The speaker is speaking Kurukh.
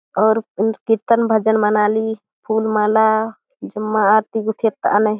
अउर क्रितन्न भजन मना ली फूल माला जेमा आरती गुथेत आने।.